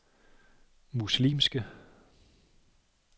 muslimske